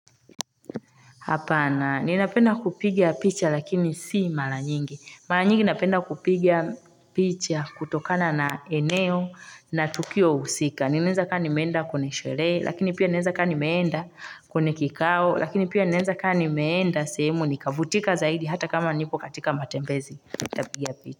Hapana ninapenda kupiga picha lakini si mara nyingi mara nyingi napenda kupigia picha kutokana na eneo na tukio husika ninaenza kani meenda kune sherehe lakini pia ninaeza kani meenda kwenye kikao lakini pia ninaenza kani meenda semu nikavutika zaidi hata kama nipo katika matembezi nitapiga picha.